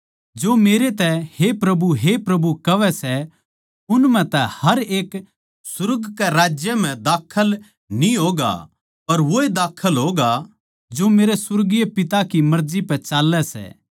जो मेरै तै हे प्रभु हे प्रभु कहवै सै उन म्ह तै हर एक सुर्ग के राज्य म्ह दाखल न्ही होगा पर वोए दाखल होगा जो मेरै सुर्गीय पिता की मर्जी पै चाल्लै सै